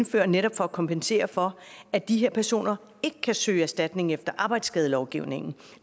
for netop at kompensere for at de her personer ikke kan søge erstatning efter arbejdsskadelovgivningen